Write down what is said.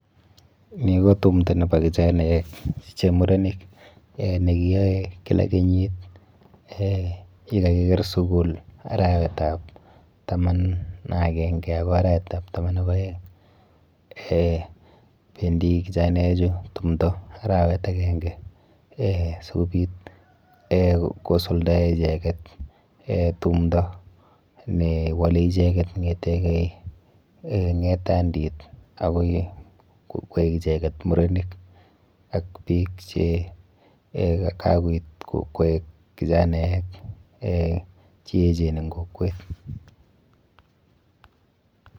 Ni ko tumdo nepo kichanaek che murenik nekiyoe kila kenyit eh yekakiker sukul arawetap taman akenke akoi arawetap taman ak aeng. Eh bendi kichanaechu tumdo arawet akenke eh sikobit eh kosuldae icheket eh tumdo newole icheket ng'eteke eh ng'etandit akoi koek icheket murenik ak biik che kakoit koek kichanaek eh cheechen eng kokwet.